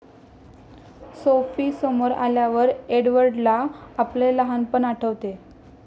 Sophie समोर आल्यावर एडवर्डला आपले लहानपण आठवते.